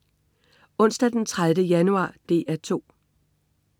Onsdag den 30. januar - DR 2: